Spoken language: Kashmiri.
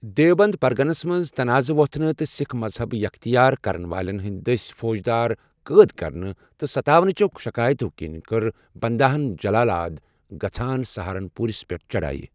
دیوبند پرگنس منز تناضہٕ ووتھنہٕ تہٕ سِكھ مذہب یختیار كرن والٮ۪ن ہندِ دٔسۍ فوجدار قٲد كرنہٕ تہٕ ستاونٕچو شكایتو كِنۍ كٔر بنداہن جلال آد گژھان سہارن پوُرس پیٹھ چڑایہٕ ۔